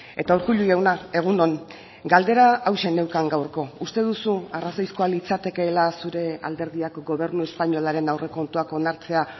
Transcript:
eta urkullu jauna egun on galdera hauxe neukan gaurko uste duzu arrazoizkoa litzatekeela zure alderdiak gobernu espainolaren aurrekontuak onartzea